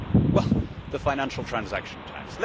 Well, the financial transaction tax.